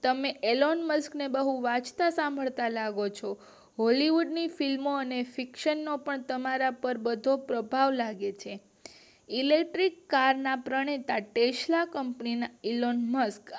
તમે આલમ્બસ ને બહુ વાંચતા લાગો છો બૉલીવુડ ની ફિલ્મો અને શિક્ષણ નો પણ તમારા પાર બધો પ્રભાવ લાગે છે ઇલેક્ટ્રિક કાર ના પ્રણેતા તેસ્વા કંપનીના એલંબક